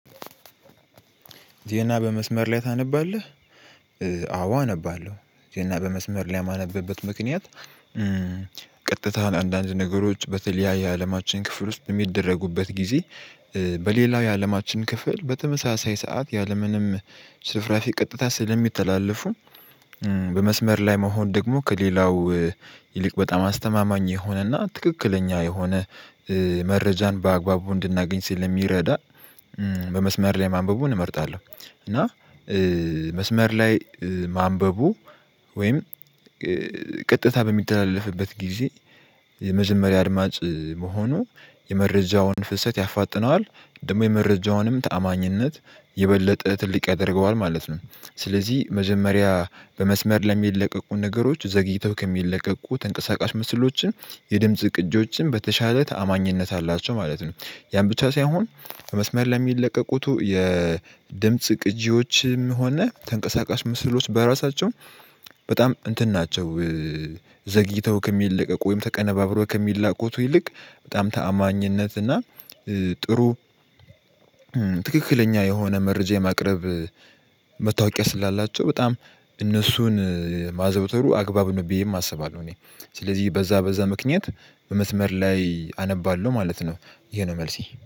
ዜና በመስመር ላይ ታነባለህ? አዎ አነባለሁ ዜና በመስመር ላይ የማነብበት ምክንያት ቀጥታ አንዳንድ ነገሮች በተለያየ አለማችን ክፍል ውስጥ የሚደረጉበት ጊዜ። በሌላው የአለማችን ክፍል በተመሳሳይ ሰዓት ያለምንም ሽርፍራፊ ቀጥታ ስለሚተላለፉ። በመስመር ላይ መሆን ደግሞ ከሌላው ይልቅ በጣም አስተማማኝ የሆነና ትክክለኛ የሆነ መረጃን በአግባቡ እንድናገኝ ስለሚረዳ። በመስመር ላይ ማንበቡን እመርጣለሁ። እና መስመር ላይ ማንበቡ ወይም ቀጥታ በሚተላለፍበት ጊዜ የመጀመሪያ አድማጭ መሆኑ የመረጃውን ፍሰት ያፋጥነዋል ደግሞ የመረጃውንም ታማኝነት የበለጠ ትልቅ ያደርገዋል ማለት ነው። ስለዚህ መጀመሪያ በመስመር ለሚለቀቁ ነገሮች ዘግይተው ከሚለቀቁ ተንቀሳቃሽ ምስሎችም የድምጽ ቅጂዎችም በተሻለ ተአማኝነት አላቸው ማለት ነው። ያን ብቻ ሳይሆን ከመስመር ለሚለቀቁት የድምጽ ቅጂዎችም ሆነ ተንቀሳቃሽ ምስሎች በራሳቸው በጣም እንትን ናቸው። ዘግይተው ከሚለቀቁ ወይም ተቀነባብሮ ከሚላቁት ይልቅ በጣም ተአማኝነት እና ጥሩ ትክክለኛ የሆነ መረጃ የማቅረብ መታወቂያ ስላላቸው በጣም እነሱን ማዘውተሩ አግባብ ነው ብዬም አስባለው። እኔ ስለዚህ በዛ በዛ ምክንያት በመስመር ላይ አነባለሁ ማለት ነው። ይሄ ነው መልሴ